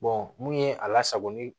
mun ye a lasagoli